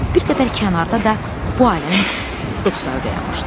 Bir qədər kənarda da bu ailənin dostları dayanmışdı.